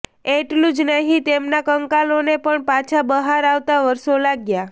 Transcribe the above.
એટલું જ નહીં તેમના કંકાલોને પણ પાછા બહાર આવતા વર્ષો લાગ્યા